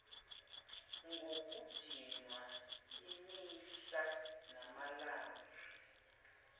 ngokudinwa imihla namalanga